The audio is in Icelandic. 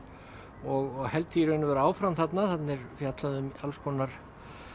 og held því í raun og veru áfram þarna þarna er fjallað um alls konar